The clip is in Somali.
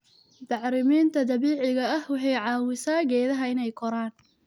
Bacriminta dabiiciga ah waxay caawisaa geedaha inay koraan.